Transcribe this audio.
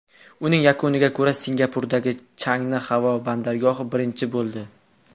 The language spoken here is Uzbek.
Uning yakuniga ko‘ra, Singapurdagi Changi havo bandargohi birinchi bo‘ldi.